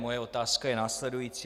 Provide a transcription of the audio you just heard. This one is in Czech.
Moje otázka je následující.